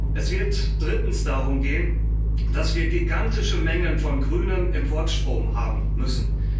Es wird drittens darum gehen, dass wir gigantische Mengen von grünem Importstrom haben müssen.